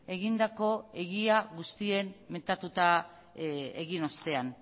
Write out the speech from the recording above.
egindako egia guztien metatuta egin ostean